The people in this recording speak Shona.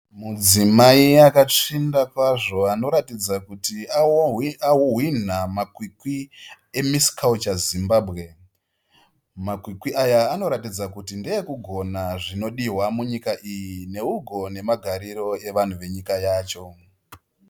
Mudzimai akatsvinda kwazvo anoratidza kuti ahwinha makwikwi eMiss Culture Zimbabwe. Makwikwi aya anoratidza kuti ndeekugona zvinodiwa munyika iyi neugo nemagariro evanhu venyika yacho.